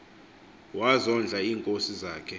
wazondla iinkosi zakhe